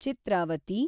Chitravati